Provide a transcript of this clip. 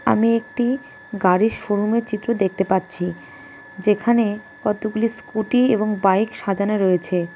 আমি একটি গাড়ির শোরুমের চিত্র দেখতে পাচ্ছি যেখানে কতগুলি স্কুটি এবং বাইক সাজানো রয়েছে .